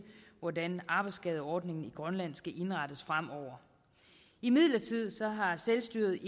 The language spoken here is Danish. hvordan arbejdsskadeordningen i grønland skal indrettes fremover imidlertid har selvstyret